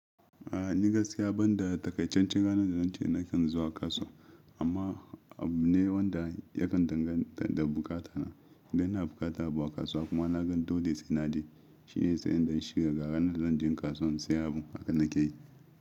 A ni gaskiya banda takaican can ranan da zan ce nakan zuwa kasuwa amma abu ne wanda yakan danganta da bukata na. Idan ina bukata abu a kasuwa kuma na gan dole sai naje shine zai in dan shirya ga ranar zan je kasuwan sayan abu haka nake yi.